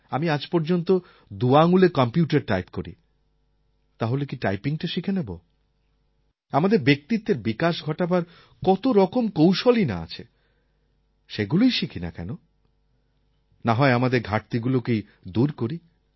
আমি আজ পর্যন্ত দুআঙুলে কম্পিউটার টাইপ করি তাহলে কি টাইপিংটা শিখে নেব আমাদের ব্যক্তিত্বের বিকাশ ঘটাবার কতরকম কৌশলই না আছে সেগুলোই শিখি না কেন নাহয় আমাদের ঘাটতিগুলোকেই দূর করি